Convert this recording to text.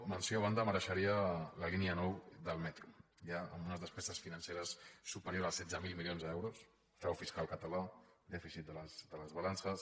menció a banda mereixeria la línia nou del metro ja amb unes despeses financeres superiors als setze mil milions d’euros frau fiscal català dèficit de les balances